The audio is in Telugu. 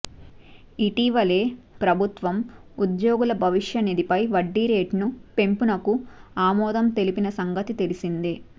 ఇటీవలే ప్రభుత్వం ఉద్యోగుల భవిష్య నిధిపై వడ్డీ రేటును పెంపునకు ఆమోదం తెలిపిన సంగతి తెలిసిందే